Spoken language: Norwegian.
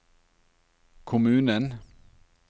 kommunen